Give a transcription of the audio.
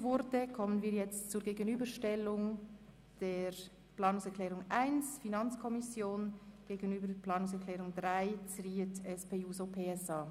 Damit kommen wir zur Gegenüberstellung der Planungserklärung 1 der FiKo-Mehrheit und der Planungserklärung 3 von Grossrätin Zryd von der SP-JUSO-PSA-Fraktion.